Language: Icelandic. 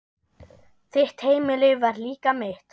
Þitt heimili var líka mitt.